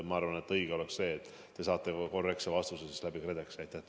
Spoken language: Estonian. Ma arvan, et õige oleks see, et te saate korrektse vastuse KredExilt.